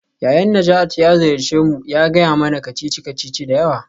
Yayan Najatu ya ziyarce mu ya gaya mana kacici-kacici da yawa.